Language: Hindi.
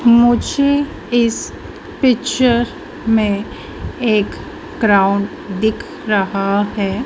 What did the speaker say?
मुझे इस पिक्चर में एक ग्राउंड दिख रहा है।